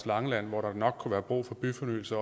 langeland hvor der nok kunne være brug for byfornyelse